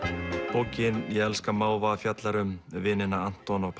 bókin ég elska máva fjallar um vinina Anton og